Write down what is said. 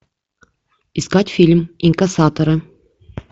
искать фильм инкассаторы